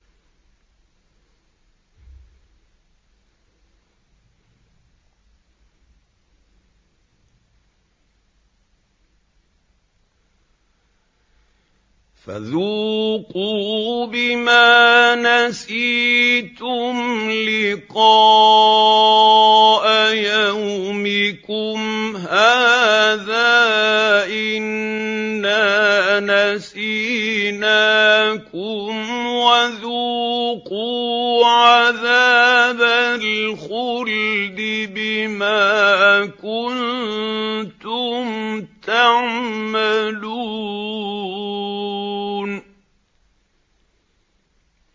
فَذُوقُوا بِمَا نَسِيتُمْ لِقَاءَ يَوْمِكُمْ هَٰذَا إِنَّا نَسِينَاكُمْ ۖ وَذُوقُوا عَذَابَ الْخُلْدِ بِمَا كُنتُمْ تَعْمَلُونَ